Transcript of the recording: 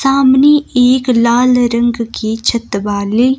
सामने एक लाल रंग की छत वाली--